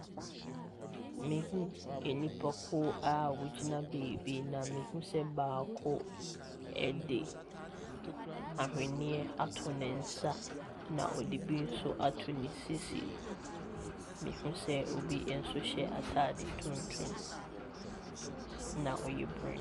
Mehunu nipakuo a wɔgyina baabi, na mehunu sɛ baako de ahweneɛ ato ne nsa, na ɔde bi nso ato ne sisi. Mehunu sɛ obi nso hyɛ atadeɛ tuntum, na ɔyɛ bur .